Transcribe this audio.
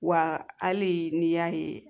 Wa hali n'i y'a ye